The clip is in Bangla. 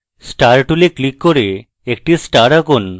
star tool click করুন এবং একটি star আঁকুন